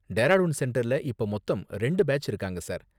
டேராடூன் சென்டர்ல இப்ப மொத்தம் ரெண்டு பேட்ச் இருக்காங்க, சார்.